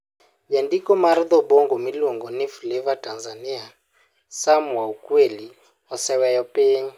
Jandiko mar dho-Bongo miluongo ni Fleva Tanzania Sam wa Ukweli oseweyo piny.